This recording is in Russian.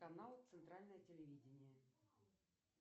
канал центральное телевидение